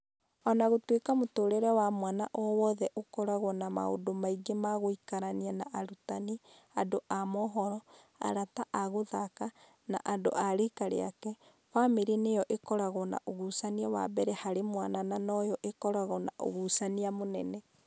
O na gũtuĩka mũtũũrĩre wa mwana o wothe ũkoragwo na maũndũ maingĩ ma gũikarania na arutani, andũ a mohoro, arata a gũthaka, na andũ a riika rĩake, famĩrĩ nĩyo ĩkoragwo na ũgucania wa mbere harĩ mwana na noyo ĩkoragwo na ũgucania mũnene.